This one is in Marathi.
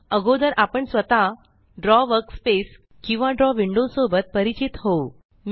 अगोदर आपण स्वतः द्रव वर्कस्पेस किंवा द्रव विंडो सोबत परिचित होऊ